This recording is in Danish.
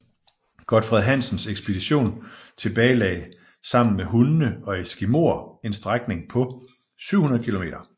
Godfred Hansens ekspedition tilbagelagde sammen med hunde og eskimoer en strækning på 700 kilometer